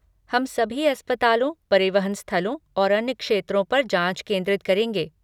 हम सभी अस्पतालों, परिवहन स्थलों और अन्य क्षेत्रों पर जाँच केंद्रित करेंगे।